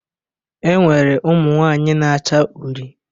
E nwere ụmụnwaanyị na-acha uri